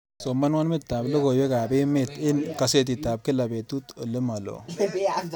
Somanwo metitab logoywekab emet eng kasetitab kila betut olemaloo